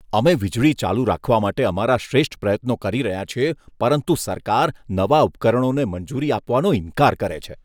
અમે વીજળી ચાલુ રાખવા માટે અમારા શ્રેષ્ઠ પ્રયત્નો કરી રહ્યા છીએ પરંતુ સરકાર નવા ઉપકરણોને મંજૂરી આપવાનો ઇનકાર કરે છે.